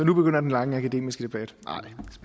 nu begynder den lange akademiske debat